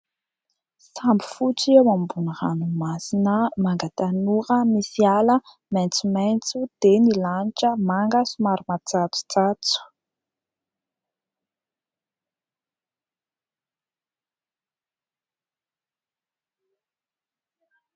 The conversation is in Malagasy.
Sambo fotsy eo ambony ranomasina manga tanora misy ala maintsomaintso dia ny lanitra manga somary matsatsotsatso.